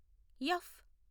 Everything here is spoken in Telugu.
ఎఫ్